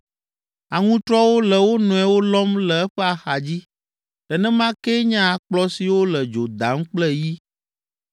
Aŋutrɔwo le wo nɔewo lɔm le eƒe axadzi, nenema kee nye akplɔ siwo le dzo dam kple yi.